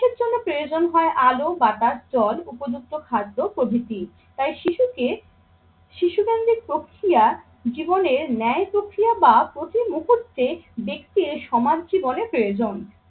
জন্য প্রয়োজন হয় আলো, বাতাস, জল, উপযুক্ত খাদ্য প্রভৃতি। তাই শিশুকে শিশুকেন্দ্রিক প্রক্রিয়া জীবনের ন্যায় প্রক্রিয়া বা প্রতিমুহূর্তে সমাজ জীবনে প্রয়োজন।